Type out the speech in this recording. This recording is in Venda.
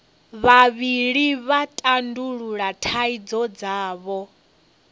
vhavhili vha tandulula thaidzo dzavho